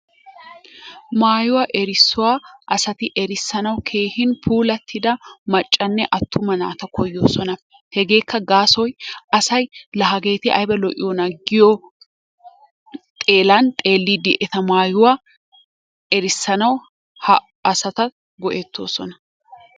Mayuwa erisuwaa asati erissanawu keehin puulattida maccanne atumma atumaa naata koyosonna, hegeekka gassoy asay la hageetti aybaa lo'iyonna giyo xeelan xelidi eta mayuwaa erissanawu ha asata go'ettosonna.